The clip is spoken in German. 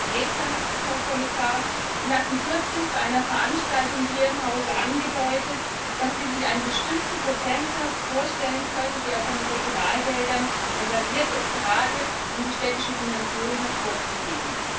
Ganz konkret, Herr Kommissar Sie hatten kürzlich bei einer Veranstaltung hier im Hause angedeutet, dass Sie sich einen bestimmten Prozentsatz vorstellen können, der von den Regionalgeldern reserviert ist, gerade um die städtische Dimension hervorzuheben.